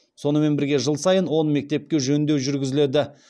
сонымен бірге жыл сайын он мектепке жөндеу жүргізіледі